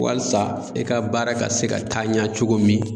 Walsa i ka baara ka se ka taa ɲa cogo min